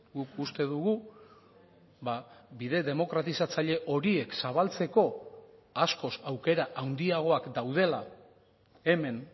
guk uste dugu bide demokratizatzaile horiek zabaltzeko askoz aukera handiagoak daudela hemen